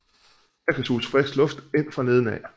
Her kan suges frisk luft ind fra neden af